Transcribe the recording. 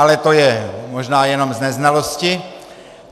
Ale to je možná jenom z neznalosti.